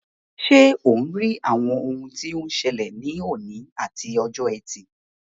Ṣé ò ń rí àwọn ohun tí ó ń ṣẹlẹ̀ ní òní àti ọjọ́ Ẹtì?